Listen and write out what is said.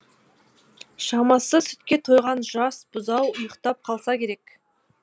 шамасы сүтке тойған жас бұзау ұйықтап қалса керек